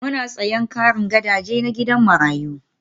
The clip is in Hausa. Muna sayen karin gadaje na gidan marayu